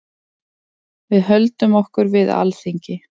Við höldum okkur við Alþingi.